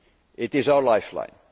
economy. It is our